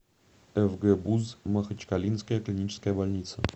фгбуз махачкалинская клиническая больница